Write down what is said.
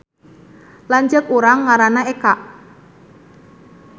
Lanceuk urang ngaranna Eka